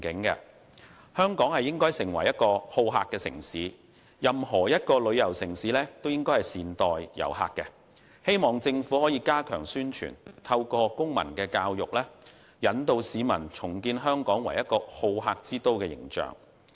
首先，香港應發展成為好客城市，任何一個旅遊城市都應該善待遊客，政府宜加強宣傳，透過公民教育，引導市民重建香港作為好客之都的形象。